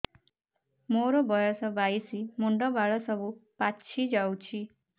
ମୋର ବୟସ ବାଇଶି ମୁଣ୍ଡ ବାଳ ସବୁ ପାଛି ଯାଉଛି